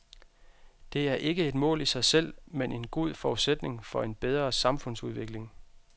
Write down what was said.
Det er ikke et mål i sig selv, men en god forudsætning for en bedre samfundsudvikling.